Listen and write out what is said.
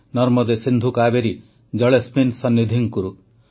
ନର୍ମଦେ ସିନ୍ଧୁ କାବେରୀ ଜଳେସ୍ମିନ୍ ସନ୍ନିଧିଂ କୁରୁ